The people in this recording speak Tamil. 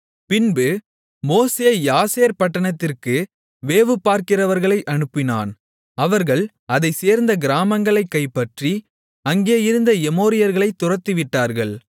பின்பு மோசே யாசேர் பட்டணத்திற்கு வேவுபார்க்கிறவர்களை அனுப்பினான் அவர்கள் அதைச்சேர்ந்த கிராமங்களைக் கைப்பற்றி அங்கே இருந்த எமோரியர்களைத் துரத்திவிட்டார்கள்